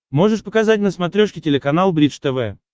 можешь показать на смотрешке телеканал бридж тв